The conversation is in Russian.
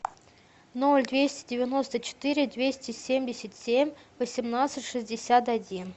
ноль двести девяносто четыре двести семьдесят семь восемнадцать шестьдесят один